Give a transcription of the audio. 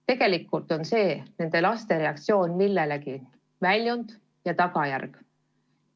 Tegelikult aga on see nende laste reaktsioon millegi väljund ja tagajärg.